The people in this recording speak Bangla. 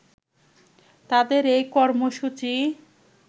তাদের এই কর্মসূচি